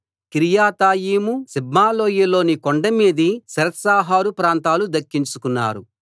కిర్యతాయిము సిబ్మాలోయ లోని కొండ మీది శెరెత్షహరు ప్రాంతాలు దక్కించుకున్నారు